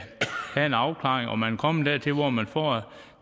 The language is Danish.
have en afklaring og man er kommet dertil hvor man får